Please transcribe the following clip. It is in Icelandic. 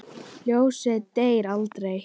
Ljósið deyr aldrei.